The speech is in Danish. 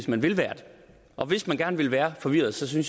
man vil være det og hvis man gerne vil være forvirret synes jeg